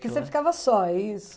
Porque você ficava só, é isso?